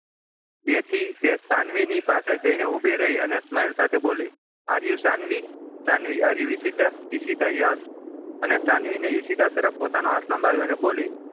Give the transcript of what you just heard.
તેથી તે સાનવીની પાસે જઈને ઊભી રહીને smile સાથે બોલે are you Sanvi Sanvi are you Ishita Ishita yes અને સાનવીને ઈશિતા તરફ પોતાનો હાથ લંબાવ્યો અને બોલી